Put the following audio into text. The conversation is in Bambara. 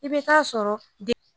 I bɛ t'a sɔrɔ dɛ